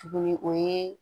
Tuguni o ye